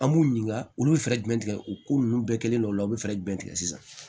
An b'u ɲininka olu bɛ fɛɛrɛ jumɛn tigɛ u ko ninnu bɛɛ kɛlen don olu la u bɛ fɛɛrɛ jumɛn tigɛ sisan